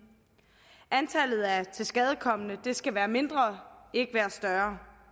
antallet af tilskadekomne skal være mindre ikke større